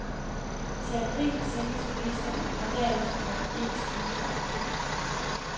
Til april sænkes priserne, og derefter må de ikke stige før om to år.